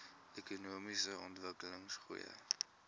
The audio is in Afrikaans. ekonomiese ontwikkeling goeie